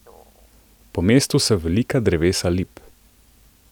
Po mestu so velika drevesa lip.